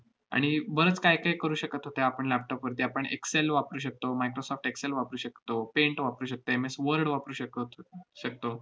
आणि बरंच काहीकाही करू शकत होतो आपण laptop वरती. आपण excel वापरू शकतो, microsoft excel वापरू शकतो, paint वापरू शकते, M. S. word वापरू शकत~ शकतो.